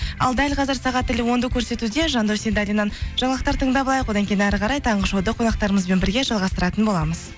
ал дәл қазір сағат тілі онды көрсетуде жандос сейдалиннен жаңалықтар тыңдап алайық одан кейін әрі қарай таңғы шоуды қонақтарымызбен бірге жалғастыратын боламыз